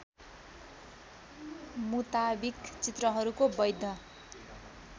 मुताविक चित्रहरूको बैध